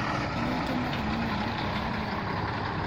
Nĩ ngenaga mũno nĩ ũndũ wa rĩera rĩega.